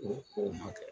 O o ma kɛ